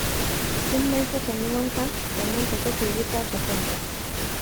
Jummai takan yi wanka, sannan ta kashe wuta ta kwanta